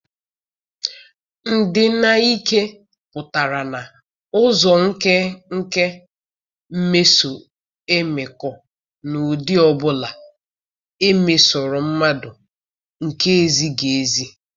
Ndina n'ike pụtara na-ụzọ nkeke mmeso mmekọ n'ụdị ọ bụla emesoro mmadụ nke ezighị ezi.